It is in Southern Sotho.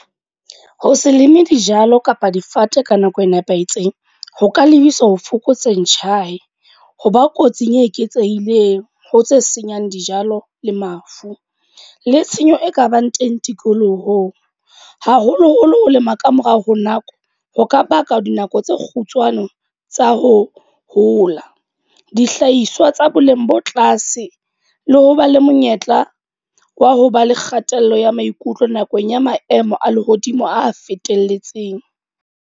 Ho se leme dijalo kapa difate ka nako e nepahetseng. Ho ka lebisa ho fokotseng , hoba kotsing e eketsehileng ho tse senyang dijalo le mafu. Le tshenyo e kabang teng tikolohong. Haholo-holo ho lema ka morao ho nako. Ho ka baka dinako tse kgutshwane tsa ho hola. Dihlahiswa tsa boleng bo tlase, le ho ba le monyetla wa ho ba le kgatello ya maikutlo nakong ya maemo a lehodimo a fetelletseng.